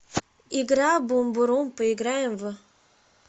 игра бумбурум поиграем в